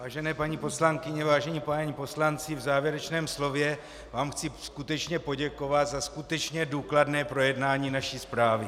Vážené paní poslankyně, vážení páni poslanci, v závěrečném slově vám chci skutečně poděkovat za skutečně důkladné projednání naší zprávy.